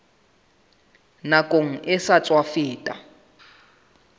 nakong e sa tswa feta